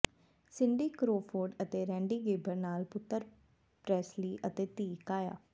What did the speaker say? Cindy Crawford ਅਤੇ Randy Gerber ਨਾਲ ਪੁੱਤਰ ਪ੍ਰੈਸਲੀ ਅਤੇ ਧੀ ਕਾਆ